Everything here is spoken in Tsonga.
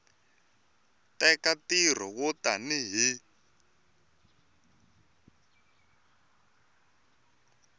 teka nkarhi wo tani hi